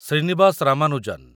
Srinivas Ramanujan